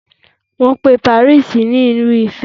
Wọ́n pe Paris ní Ìlú ìfẹ́.